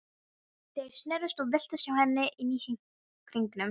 Þeir snerust og veltust hjá henni inni í hringnum.